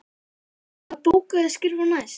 Hvaða bók á ég að skrifa næst?